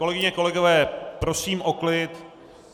Kolegyně, kolegové, prosím o klid.